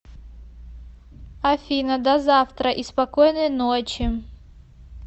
афина до завтра и спокойной ночи